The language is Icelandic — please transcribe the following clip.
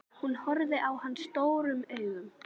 Hún horfir á hann stórum augum.